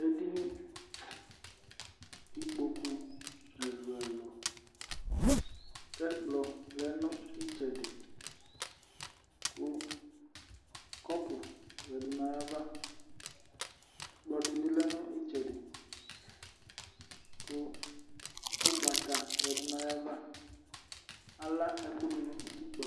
Edini kʋ ikpoku ɛlʋ-ɛlʋ kʋ ɛkplɔ lɛ nʋ ɩtsɛdɩ kʋ kɔpʋ yǝdu nʋ ayava. Ɛkplɔ dɩ bɩ lɛ nʋ ɩtsɛdɩ kʋ ʋgbata yǝdu nʋ ayava. Ala ɛkʋ dʋ nʋ utikpǝ.